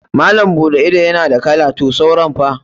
Malam buɗe ido na da kala to sauran fa?